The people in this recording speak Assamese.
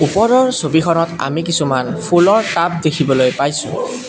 ওপৰৰ ছবিত আমি কিছুমান ফুলৰ টাব দেখিবলৈ পাইছোঁ।